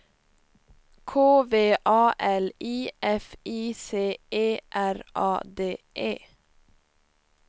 K V A L I F I C E R A D E